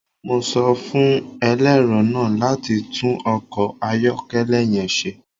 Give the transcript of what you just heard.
Mo sọ fun ẹlẹrọ naa lati tun ọkọ ayọkẹlẹ yẹn ṣe